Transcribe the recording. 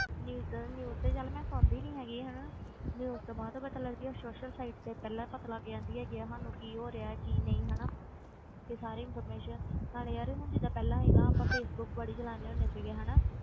News news ਤੇ ਚੱਲ ਮੈਂ ਸੁਣਦੀ ਨੀ ਹੈਗੀ ਹਨਾ news ਤੋਂ ਬਾਅਦ ਪਤਾ ਲੱਗਦੀ ਆ social site ਤੇ ਪਹਿਲਾਂ ਪਤਾ ਲੱਗ ਜਾਂਦੀ ਹੈਗੀ ਹੈ ਸਾਨੂੰ ਕੀ ਹੋ ਰਿਹਾ ਕੀ ਨਹੀਂ ਹਨਾ ਇਹ ਸਾਰੀ information ਨਾਲੇ ਯਾਰ ਹੁਣ ਜਿੱਦਾਂ ਪਹਿਲਾਂ ਸੀਗਾ ਆਪਾਂ ਫੇਸਬੁੱਕ ਬੜੀ ਚਲਾਉਂਦੇ ਹੁੰਦੇ ਸੀਗੇ ਹਨਾ,